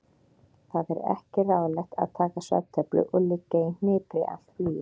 Það er ekki ráðlegt að taka svefntöflu og liggja í hnipri allt flugið.